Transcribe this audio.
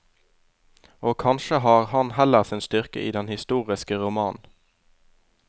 Og kanskje har han heller sin styrke i den historiske roman.